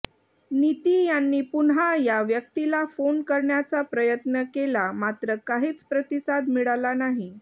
नीती यांनी पुन्हा या व्यक्तीला फोन करण्याचा प्रयत्न केला मात्र काहीच प्रतिसाद मिळाला नाही